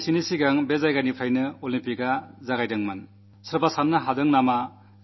കുറച്ചു ദിവസങ്ങൾക്കുമുമ്പ് അതേ സ്ഥലത്ത് ഒളിമ്പിക്സ് മത്സരങ്ങൾ നടന്നു